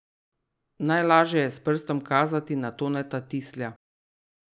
Najlažje je s prstom kazati na Toneta Tislja.